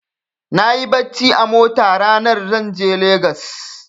Nayi barci a mota ranar za zan je Lagos.